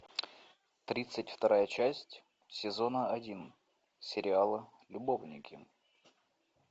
тридцать вторая часть сезона один сериала любовники